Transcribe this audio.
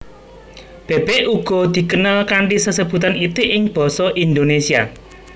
Bèbèk uga dikenal kanthi sesebutan itik ing basa Indonésia